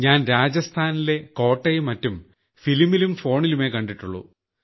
ഞാൻ രാജസ്ഥാനിലെ കോട്ടയും മറ്റും സിനിമയിലും ഫോണിലുമേ കണ്ടിട്ടുള്ളൂ